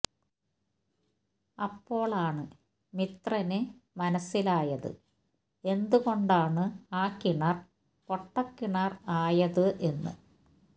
അപ്പോളാണ് മിത്രന് മനസ്സിലായത് എന്തുകൊണ്ടാണ് ആ കിണർ പൊട്ടക്കിണർ ആയതു എന്ന്